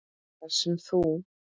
Þar sem þú